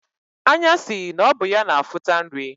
Anya si na ọ bụ ya na-afụta nri.